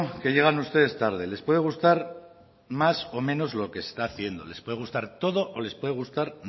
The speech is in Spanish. que llegan ustedes tarde les puede gustar más o menos lo que está haciendo les puede gustar todo o les puede gustar